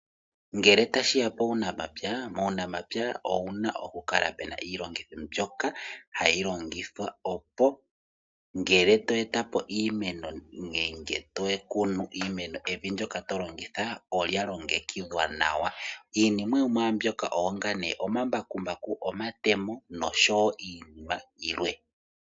Ngele ta shiya puunamapya, muunamapya owuna oku kala pena iilongitho mbyoka hayi longithwa opo ngele to etapo iimeno nenge to kunu iimeno evi ndyoka to longitha olya longekidhwa nawa. Yimwe yo mwaambyoka ongaashi omambakumbaku, omatemo nosho wo iinima yilwe.